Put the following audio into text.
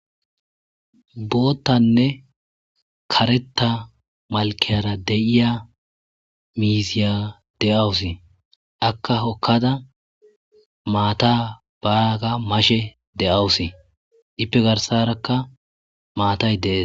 Booththane keretha mallara diiza miiziya de'awuse miiziyak hookada maata mashshe de'awuse iipe garssarakka maatay de'ess.